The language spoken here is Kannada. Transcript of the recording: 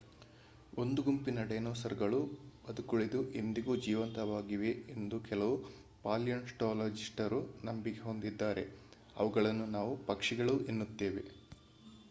ಒಂದು ಗುಂಪಿನ ಡೈನೋಸಾರ್ಗಳು ಬದುಕುಳಿದು ಇಂದಿಗೂ ಜೀವಂತವಾಗಿವೆ ಎಂದು ಕೆಲವು ಪಾಲಿಯೊನ್ಟೋಲೊಜಿಸ್ಟರು ನಂಬಿಕೆ ಹೊಂದಿದ್ದಾರೆ ಅವುಗಳನ್ನು ನಾವು ಪಕ್ಷಿಗಳು ಎನ್ನುತ್ತೇವೆ